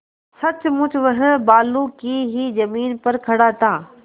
सचमुच वह बालू की ही जमीन पर खड़ा था